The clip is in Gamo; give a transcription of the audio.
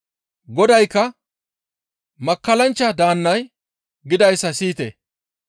Godaykka, «Makkallanchcha daannay gidayssa siyite;